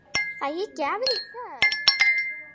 Fæ ég gjafir í kvöld?